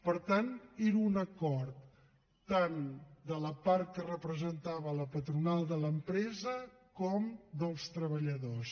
per tant era un acord tant de la part que representava la patronal de l’empresa com dels treballadors